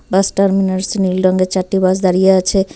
বাস terminals নীল রংয়ের চারটি বাস দাঁড়িয়ে আছে।